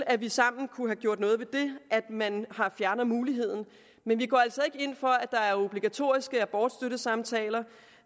at vi sammen kunne have gjort noget ved at man har fjernet muligheden men vi går altså ikke ind for at der er obligatoriske abortstøttesamtaler